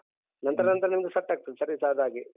ನಂತರ ನಂತರ ನಿಮ್ದು set ಆಗ್ತದೆ service ಆದ ಹಾಗೆ.